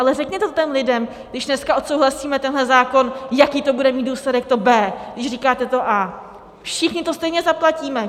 Ale řekněte to těm lidem, když dneska odsouhlasíme tenhle zákon, jaký to bude mít důsledek, to B, když říkáte to A. Všichni to stejně zaplatíme!